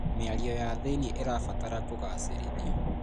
Mĩario ya thĩinie ĩrabatara kũgacĩrithio.